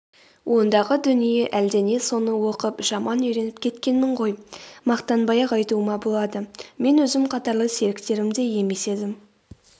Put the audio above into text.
ондағы дүние әлдене соны оқып жаман үйреніп кеткенмін ғой мақтанбай-ақ айтуыма болады мен өзім қатарлы серіктерімдей емес едім